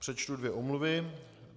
Přečtu dvě omluvy.